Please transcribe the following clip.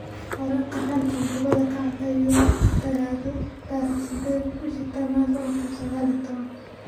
Wararka xanta kubada cagta Yurub Talaado 08.10.2019: Solskjaer, Countinho, Dembele, Pulisic, Martinelli